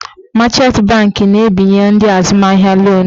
Machant banki na-ebinye ndị azụmahịa lonu.